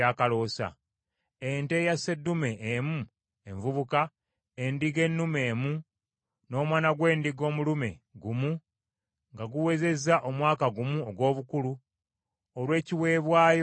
ente eya sseddume emu envubuka, endiga ennume emu, n’omwana gw’endiga omulume gumu nga guwezezza omwaka gumu ogw’obukulu, olw’ekiweebwayo ekyokebwa;